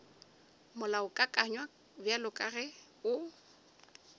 molaokakanywa bjalo ka ge o